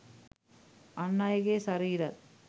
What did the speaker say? අන් අයගේ ශරීරත්